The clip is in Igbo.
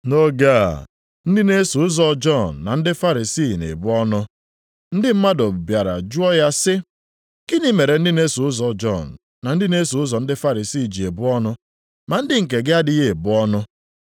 Nʼoge a, ndị na-eso ụzọ Jọn na ndị Farisii na-ebu ọnụ. Ndị mmadụ bịara jụọ ya sị, “Gịnị mere ndị na-eso ụzọ Jọn na ndị na-eso ụzọ ndị Farisii ji ebu ọnụ, ma ndị nke gị adịghị ebu ọnụ?”